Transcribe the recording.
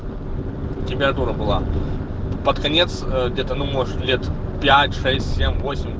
температура была под конец где-то ну может лет пять шесть семь восемь